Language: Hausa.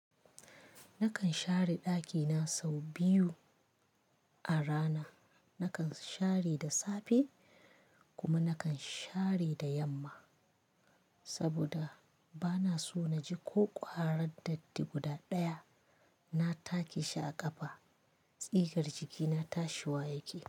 Nakan share ɗakina sau biyu a rana. Nakan share da safe kuma nakan share da yamma saboda bana so naji ko ƙwarar datti guda ɗaya. Na take shi a ƙafa, tsigar jikina tashi wa yake.